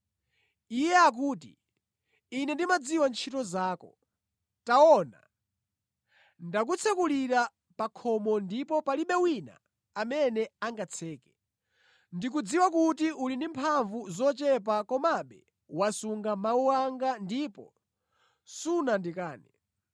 Iye akuti, ‘Ine ndimadziwa ntchito zako. Taona, ndakutsekulira pa khomo ndipo palibe wina amene angatseke. Ndikudziwa kuti uli ndi mphamvu zochepa komabe wasunga mawu anga ndipo sunandikane.